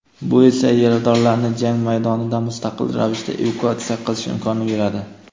bu esa yaradorlarni jang maydonidan mustaqil ravishda evakuatsiya qilish imkonini beradi.